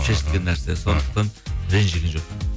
шешілген нәрсе сондықтан ренжіген жоқ